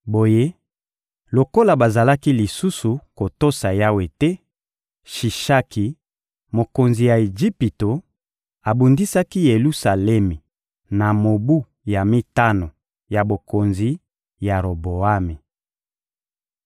Boye, lokola bazalaki lisusu kotosa Yawe te, Shishaki, mokonzi ya Ejipito, abundisaki Yelusalemi na mobu ya mitano ya bokonzi ya Roboami.